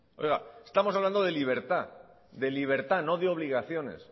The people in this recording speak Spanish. oiga estamos hablando de libertad de libertad no de obligaciones